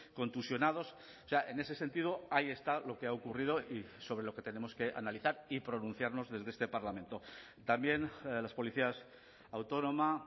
contusionados o sea en ese sentido ahí está lo que ha ocurrido y sobre lo que tenemos que analizar y pronunciarnos desde este parlamento también las policías autónoma